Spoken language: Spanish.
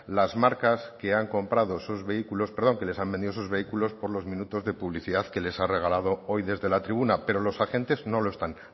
las marcas que han comprado esos vehículos perdón que les han vendido esos vehículos por los minutos de publicidad que les ha regalado hoy desde la tribuna pero los agentes no lo están